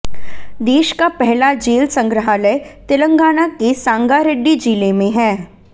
देश का पहला जेल संग्रहालय तेलंगाना के सांगारेड्डी जिले में है